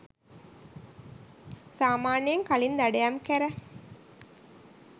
සාමාන්‍යයෙන් කලින් දඩයම් කැර